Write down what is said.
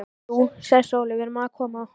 Jú, sagði Sóley, við erum að koma.